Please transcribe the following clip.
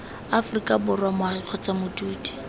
aforika borwa moagi kgotsa modudi